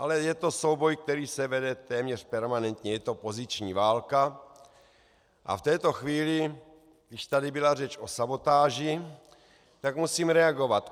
Ale je to souboj, který se vede téměř permanentně, je to poziční válka, a v této chvíli, když tady byla řeč o sabotáži, tak musím reagovat.